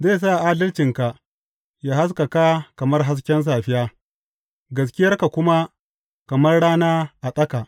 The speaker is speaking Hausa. Zai sa adalcinka yă haskaka kamar hasken safiya, gaskiyarka kuma kamar rana a tsaka.